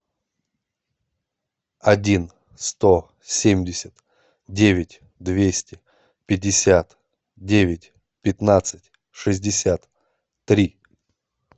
один сто семьдесят девять двести пятьдесят девять пятнадцать шестьдесят три